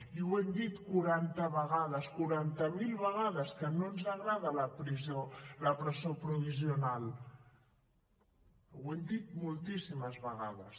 i ho hem dit quaranta vegades quaranta mil vegades que no ens agrada la presó provisional ho hem dit moltíssimes vegades